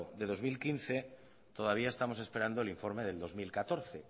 del dos mil quince todavía estamos esperando el informe del dos mil catorce